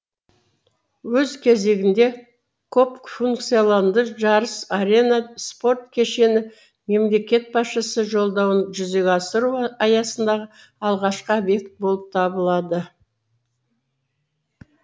өз кезегінде көпфункционалды жарыс арена спорт кешені мемлекет басшысы жолдауын жүзеге асыру аясындағы алғашқы объект болып табылады